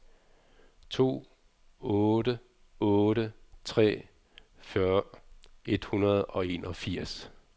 to otte otte tre fyrre et hundrede og enogfirs